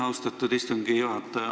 Austatud istungi juhataja!